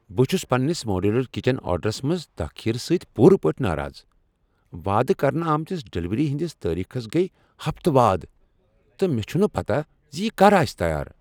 بہٕ چُھس پننس ماڈیولر کچن آرڈرس منٛز تاخیر سۭتۍ پوٗرٕ پٲٹھۍ ناراض۔ وعدٕ کرنہٕ آمتس ڈلیوری ہندِس تٲریخس گٔیہِ ہفتہٕ وادٕ ، تہٕ مےٚ چھنہٕ پتاہ زِ یہ کر آسِہ تیار۔